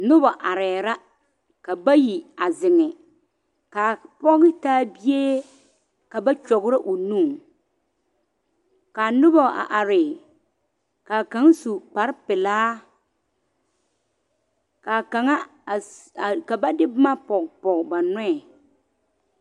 Noba arɛɛ la ka bayi a zeŋe k,a pɔge taa bie ka ba kyɔgrɔ o nu ka noba a are ka kaŋa su kparepelaa ka kaŋa a ka ba de boma pɔge pɔge ba nɔɛ.